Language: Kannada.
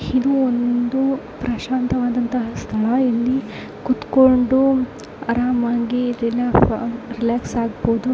ಇದು ಒಂದು ಪ್ರಶಾಂತವಾದ ಅಂತಹ ಸ್ಥಳ ಇಲ್ಲಿ ಕುತ್ಕೊಂಡು ಆರಾಮಾಗಿ ಇಲ್ಲಿನ ರಿಲಾಕ್ಸ್ ಆಗ್ಬಹುದು.